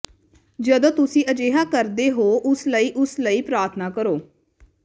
ਜਦੋਂ ਤੁਸੀਂ ਅਜਿਹਾ ਕਰਦੇ ਹੋ ਉਸ ਲਈ ਉਸ ਲਈ ਪ੍ਰਾਰਥਨਾ ਕਰੋ